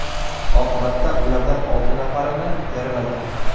Oqibatda ulardan olti nafarini yaralagan.